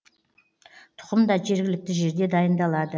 тұқым да жергілікті жерде дайындалады